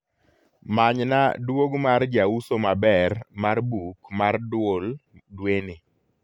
manyna duog mar jausomaber mar buk mar duol dweni